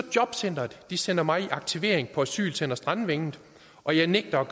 og jobcenteret sender mig i aktivering på asylcenter strandvænget og jeg nægter at